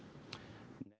nei